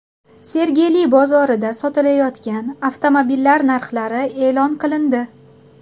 Sergeli bozorida sotilayotgan avtomobillar narxlari e’lon qilindi.